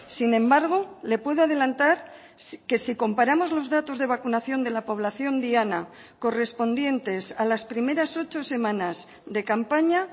sin embargo le puedo adelantar que si comparamos los datos de vacunación de la población diana correspondientes a las primeras ocho semanas de campaña